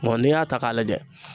n'i y'a ta k'a lajɛ